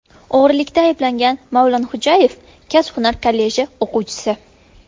O‘g‘rilikda ayblangan Mavlonxo‘jayev kasb-hunar kolleji o‘quvchisi.